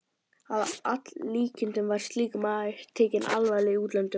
Að líkindum var slíkur maður tekinn alvarlega í útlöndum.